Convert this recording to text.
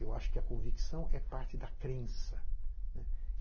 Eu acho que a convicção é parte da crença.